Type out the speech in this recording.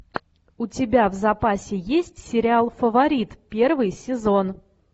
у тебя в запасе есть сериал фаворит первый сезон